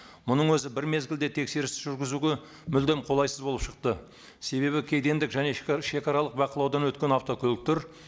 мұның өзі бір мезгілде тексеріс жүргізуге мүлдем қолайсыз болып шықты себебі кедендік және шегаралық бақылаудан өткен автокөліктер